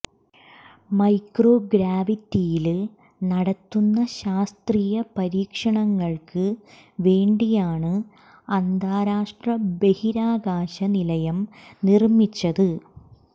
micro ഗ്രാവിറ്റിയില് നടത്തുന്ന ശാസ്ത്രീയ പരീക്ഷണങ്ങള്ക്ക് വേണ്ടിയാണ് അന്താരാഷ്ട്ര ബഹിരാകാശ നിലയം നിര്മിച്ചത്